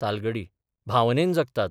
तालगडी भावनेन जगतात.